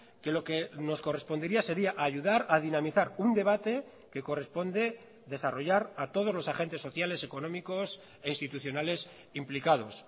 que lo que nos correspondería sería ayudar a dinamizar un debate que corresponde desarrollar a todos los agentes sociales económicos e institucionales implicados